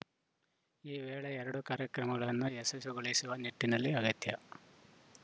ಈ ವೇಳೆ ಎರಡೂ ಕಾರ್ಯಕ್ರಮಗಳನ್ನು ಯಶಸ್ವಿಗೊಳಿಸುವ ನಿಟ್ಟಿನಲ್ಲಿ ಅಗತ್ಯ